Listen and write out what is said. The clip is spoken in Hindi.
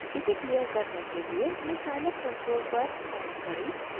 इसे क्लियर करने के लिए अपने scilab कंसोल पर टाइप करें clc